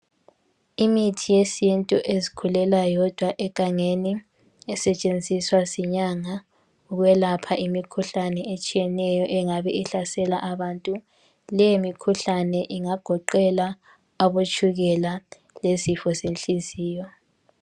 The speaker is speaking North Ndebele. Imithi yesintu ezikhulela yodwa egangeni esetshenziswa zinyanga ukwelapha imikhuhlane etshiyeneyo engabe ihlasela abantu, le mikhuhlane ingagoqela abotshukela lezifo zenhliziyo.